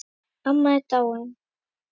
Amma er dáin.